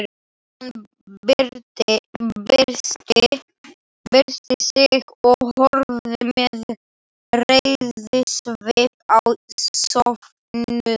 Hann byrsti sig og horfði með reiðisvip á söfnuðinn.